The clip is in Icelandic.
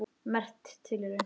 Merk tilraun